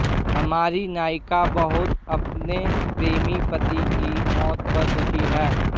हमारी नायिका बहुत अपने प्रेमी पति की मौत पर दुखी है